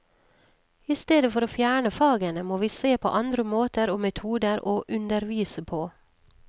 I stedet for å fjerne fagene må vi se på andre måter og metoder å undervise på.